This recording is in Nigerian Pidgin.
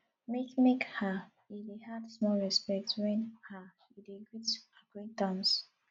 make make um you dey add small respect wen um you dey greet acquaintance